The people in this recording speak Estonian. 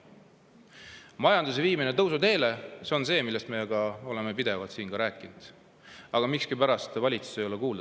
Majanduse viimine tõusuteele on see, millest me oleme siin ka pidevalt rääkinud, aga miskipärast ei ole valitsus seda kuulda võtnud.